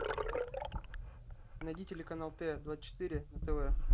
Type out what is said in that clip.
найди телеканал т двадцать четыре на тв